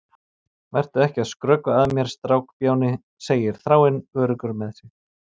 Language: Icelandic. Vertu ekki að skrökva að mér, strákbjáni, segir Þráinn, öruggur með sig.